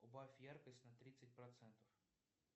убавь яркость на тридцать процентов